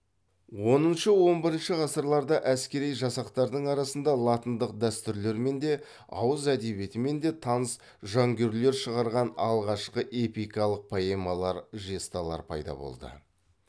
оныншы он бірінші ғасырларда әскери жасақтардың арасында латындық дәстүрлермен де ауыз әдебиетімен де таныс жонглерлер шығарған алғашқы эпикалық поэмалар жесталар пайда болды